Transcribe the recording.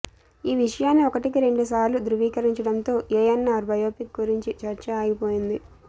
ఈ విషయాన్ని ఒకటికి రెండుసార్లు ధ్రువీకరించడంతో ఏఎన్నార్ బయోపిక్ గురించి చర్చ ఆగిపోయింది